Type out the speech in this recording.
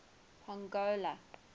pongola